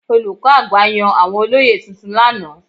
Olùkọ́ àgbà yàn àwọn olóyè tuntun lánàá.